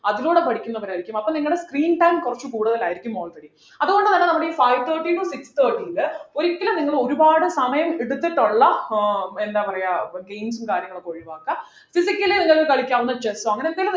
അതിലൂടെ പഠിക്കുന്നവർ ആയിരിക്കും അപ്പോൾ നിങ്ങളുടെ screen time കുറച്ച് കൂടുതലായിരിക്കും already അതുകൊണ്ട് തന്നെ നമ്മളി five thirty to six thirty ല് ഒരിക്കലും നിങ്ങൾ ഒരുപാട് സമയം എടുത്തിട്ടുള്ള ആഹ് എന്താ പറയാ games ഉം കാര്യങ്ങളൊക്കെ ഒഴിവാക്കുക physically നിങ്ങൾക്ക് കളിക്കാവുന്ന chess ഒ അങ്ങനെ എന്തെങ്കിലും